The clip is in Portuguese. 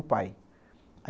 O pai.